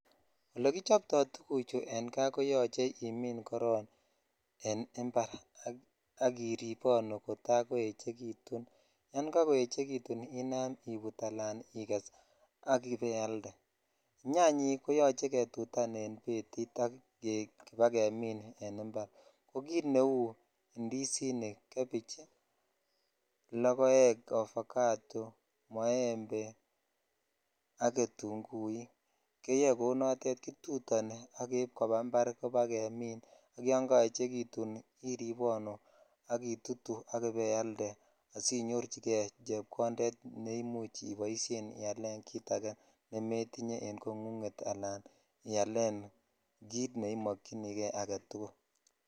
Olekichoptoi tuguchu en kaa koyoche imin koron en impar ak irebonu kota koechekutun yan kakochekitun inam ibut ala iges ak ibainam ialde nyanyik koyoche ketutan en betit ak kobakeminne impar ko kit neu indizinik ,gebich ,lokoek , ovacado ak ketunguik keyoe kou notes kitutoni ak keib koba impar kobagemin ak yon kaechekitu iribonu ak itutu ak ibailde asi nyorchi jei chepkonded ne imuch ibaialen kit age ne metinye en kongunget ala kit neimokyinikei aketukul.